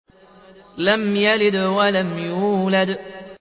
لَمْ يَلِدْ وَلَمْ يُولَدْ